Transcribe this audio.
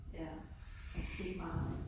Ja. Der er sket meget